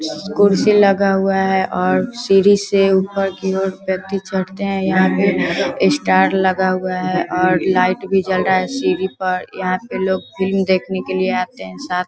कुर्सी लगा हुआ है और सीढ़ी से ऊपर की ओर व्यक्ति चढ़ते है यहां पे स्टार लगा हुआ है और लाइट भी जल रहे है सीढ़ी पर यहां पे लोग फिल्म देखने के लिए आते है साथ।